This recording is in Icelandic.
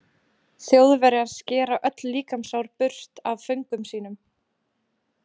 Þjóðverjar skera öll líkamshár burt af föngum sínum.